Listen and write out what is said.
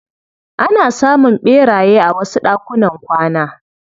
Ana samun ɓeraye a wasu ɗakunan kwana.